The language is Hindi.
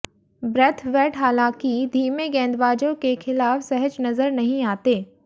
ब्रैथवेट हालांकि धीमे गेंदबाजों के खिलाफ सहज नजर नहीं आते